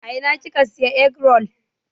A ina kika Siya egg-roll?